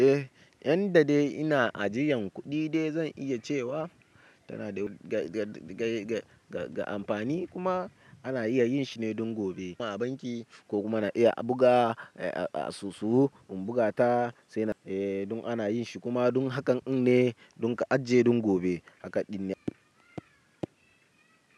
Eh, yanda dai ina ajiyan kuɗi dai zan iya cewa tana da ga amfani kuma ana iya yin shi ne don gobe kuma a banki ko kuma ana iya buga a soso in buga ta sai na eh dun ana yin shi kuma dun hakan ne dun ka ajiye dun gobe hakan ɗin ne.